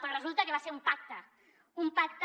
però resulta que va ser un pacte un pacte